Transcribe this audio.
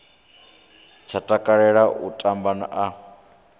tsha takalela u tamba a